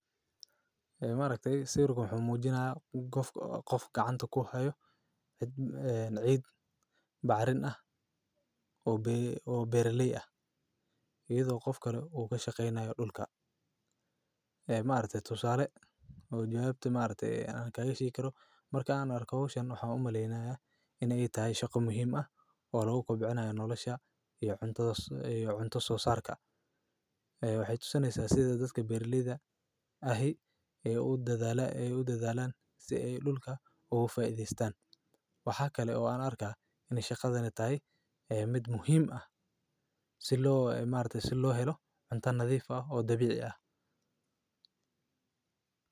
Ee maareyta si ruqo xumuujinaya, qof ka qantoo ku hayo cid ee cid baarin ah oo bi ee berli ah. Iyadoo qof kale uu ka shaqaynayo dhulka ee maalinta tusaale, uu jawaabtay maalintii aan ka heshii karo markaa aanu arko hawshan. Waxa u maleynaya in ay tahay shako muhiim ah oo loogu qabceynayo nolosha iyo cunto cusub iyo cunto soo saarka ah. Waxay uusanayso asida dadka Berlidaha ahi ay uu dadadaan ay u dadalaan si ay dhulka ugu faa'iidaystaan. Waxaa kale oo aan arkay inay shaqadana tahay ah mid muhiim ah. Sidoo ah maalinta si loo helo cunto nadiif ah oo dabiic ah.